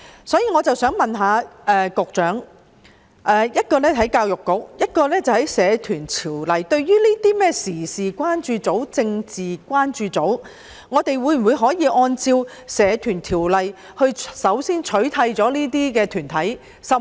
就此，我想問局長——一是關於教育局，其次是關乎《社團條例》——對於這些時事關注組及政治關注組，我們可否先按照《社團條例》取締這些團體？